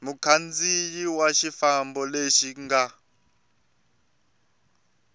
mukhandziyi wa xifambo lexo ka